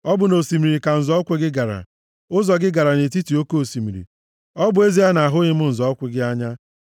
Ọ bụ nʼosimiri ka nzọ ụkwụ gị gara, ụzọ gị gara nʼetiti oke osimiri, ọ bụ ezie na ahụghị m nzọ ụkwụ gị anya.